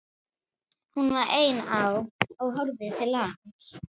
Hún var ein á og horfði til lands.